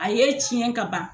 A ye tiɲɛ kaban